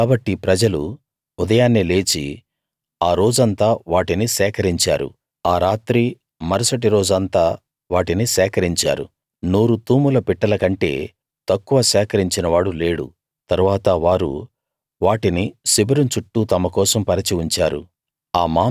కాబట్టి ప్రజలు ఉదయాన్నే లేచి ఆ రోజంతా వాటిని సేకరించారు ఆ రాత్రీ మరుసటి రోజు అంతా వాటిని సేకరించారు నూరు తూముల పిట్టల కంటే తక్కువ సేకరించినవాడు లేడు తరువాత వారు వాటిని శిబిరం చుట్టూ తమ కోసం పరచి ఉంచారు